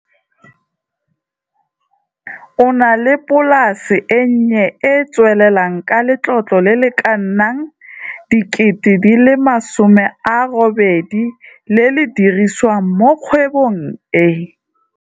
O na le polase e nnye e e tswelelang ka letlotlo le le ka nnang R800 000 le le dirisiwang mo kgwebong e.